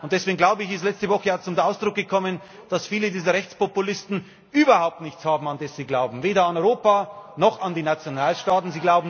Und deswegen ist letzte Woche auch zum Ausdruck gekommen, dass viele dieser Rechtspopulisten überhaupt nichts haben, an das sie glauben weder an Europa noch an die Nationalstaaten.